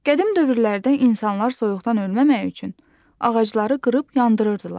Qədim dövrlərdə insanlar soyuqdan ölməmək üçün ağacları qırıb yandırırdılar.